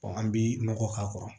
an bi nɔgɔ k'a kɔrɔ